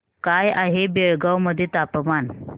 काय आहे बेळगाव मध्ये तापमान